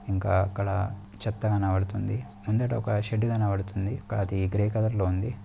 ఇంకా అక్కడ చెత్త కనబడుతుంది. ముందట ఒక షెడ్డు కనబడుతుంది.అది గ్రే కలర్ లో ఉంది.